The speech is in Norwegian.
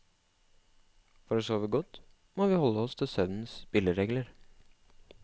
For å sove godt, må vi holde oss til søvnens spilleregler.